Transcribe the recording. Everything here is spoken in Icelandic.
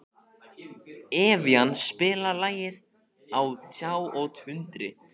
Evían, spilaðu lagið „Á tjá og tundri“.